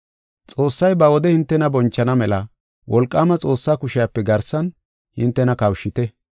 Xoossay ba wode hintena bonchana mela wolqaama Xoossaa kushiyape garsan hintena kawushite.